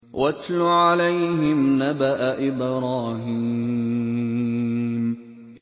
وَاتْلُ عَلَيْهِمْ نَبَأَ إِبْرَاهِيمَ